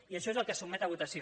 i això és el que se sotmet a votació